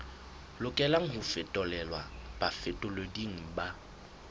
lokelang ho fetolelwa bafetoleding ba